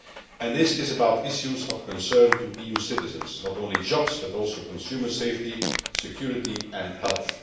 And this is about issues of concern to EU citizens not only jobs, but also consumer safety, security and health.